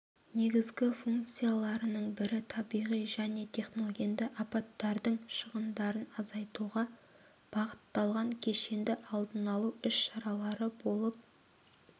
негізгі функцияларының бірі табиғи және техногенді апаттардың шығындарын азайтуға бағытталғын кешенді алдын алу іс-шаралары болып